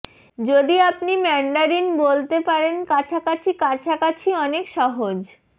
যদি আপনি ম্যান্ডারিন বলতে পারেন কাছাকাছি কাছাকাছি অনেক সহজ